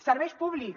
serveis públics